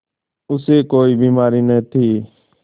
उसे कोई बीमारी न थी